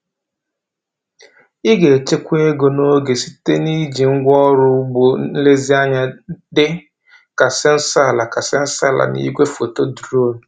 Ị ga-echekwa ego na oge site n’iji ngwaọrụ ọrụ ugbo nlezianya dị ka sensọ ala ka sensọ ala na igwefoto drones.